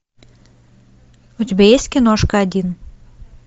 у тебя есть киношка один